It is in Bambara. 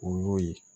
O y'o ye